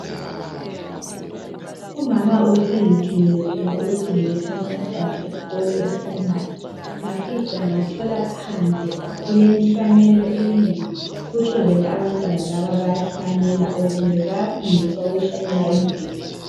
Umama ubesengithumile phela ukuthi ngiyethatha umntwana esikolo eprimary. Ngafica ngathola phandle kulenhlanyelo enengi kutsho vele abantwana laba bayahlanyela or kumbe bayafundiswa ukuhlanyela imbida.